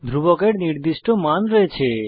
ধ্রুবকের নির্দিষ্ট মান রয়েছে